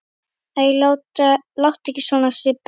Æ, láttu ekki svona Sibbi